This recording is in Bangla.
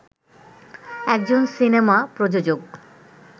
একজন সিনেমা প্রযোজক